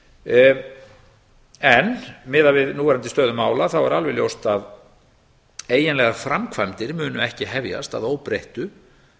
starfsemina en miðað við núverandi stöðu mála þá er alveg ljóst að eiginlegar framkvæmdir munu ekki hefjast að óbreyttu